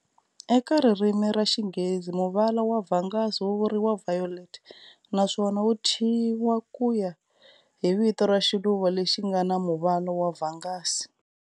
Eka ririmi ra xinghezi muvala wa vhangazi wu vuriwa "violet" naswona wuthyiwa hi kuya hi vito ra xiluva lexi ngana muvala wa vhangazi.